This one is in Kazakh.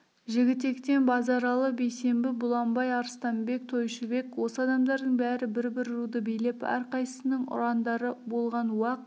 жігітектен базаралы бейсембі бұланбай арыстанбек тойшыбек осы адамдардың бәрі бір-бір руды билеп әрқайсысының ұрандары болған уақ